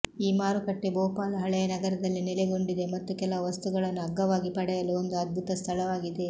ಈ ಮಾರುಕಟ್ಟೆ ಭೋಪಾಲ್ ಹಳೆಯ ನಗರದಲ್ಲಿ ನೆಲೆಗೊಂಡಿದೆ ಮತ್ತು ಕೆಲವು ವಸ್ತುಗಳನ್ನು ಅಗ್ಗವಾಗಿ ಪಡೆಯಲು ಒಂದು ಅದ್ಭುತ ಸ್ಥಳವಾಗಿದೆ